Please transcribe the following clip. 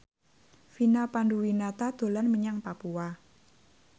Vina Panduwinata dolan menyang Papua